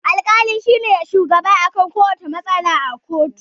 Al-kali shine shugaba akan kuwacce matsala a koto